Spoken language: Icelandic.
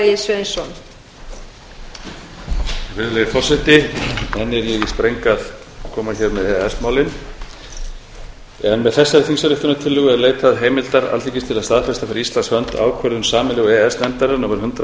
er ég í spreng að koma hér með e e s málin með þessari þingsályktunartillögu er leitað heimildar alþingis til að staðfesta fyrir íslands hinu ákvörðun sameiginlegu e e s nefndarinnar númer hundrað